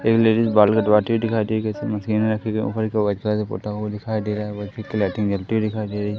एक लेडीस बाल कटवाती हुई दिखाई दे रही इसमें मशीन रखी गई ऊपर की ओर व्हाइट कलर से पुता हुआ दिखाई दे रहा है की लाइटिंग जलती हुई दिखाई दे रही।